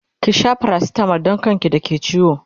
ki Sha paracetamol Dan kan ki da ke ciwo!